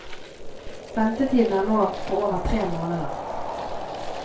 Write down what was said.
Ventetiden er nå på over tre måneder.